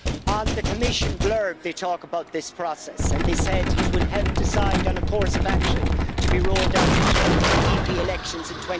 On the Commission blurb, they talk about this process, and they said it would help decide on a course of action to be rolled out in time for the EP elections in